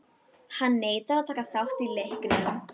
Hann neitar að taka þátt í leiknum.